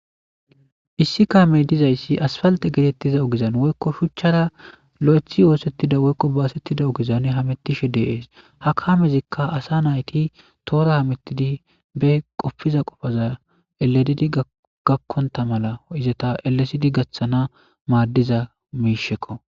issi kaamey dizayssi asfalte geetettiza ogezan woykko shuchchara lo7ethi oosettida woykko baasettida ogizan hamettishe deees hakaamezikka asa nayti toora hamettidi be qopfiza qofaza eledidi gakkonta mala izata elesidi gaththana maaddiza miishekko